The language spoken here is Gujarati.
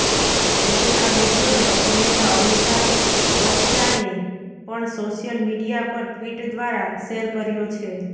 હવે આ વીડિયોને અભિનેતા અમિતાભ બચ્ચાને પણ સોશિયલ મીડિયા પર ટ્વીટ દ્વારા શેર કર્યો છે